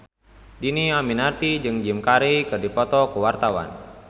Dhini Aminarti jeung Jim Carey keur dipoto ku wartawan